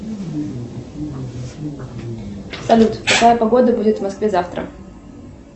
салют какая погода будет в москве завтра